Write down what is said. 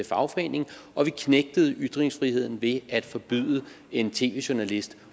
fagforening og vi knægtede ytringsfriheden ved at forbyde en tv journalist